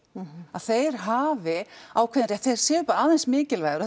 að þeir hafi ákveðinn rétt þeir séu bara aðeins mikilvægari